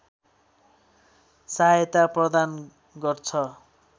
सहायता प्रदान गर्दछ